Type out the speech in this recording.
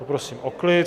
Poprosím o klid.